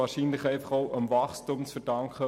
Wahrscheinlich ist das dem Wachstum zu verdanken.